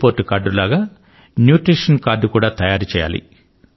report card లాగా nutrition card కూడా తయారు చేయాలి